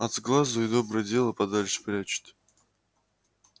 от сглазу и доброе дело подальше прячут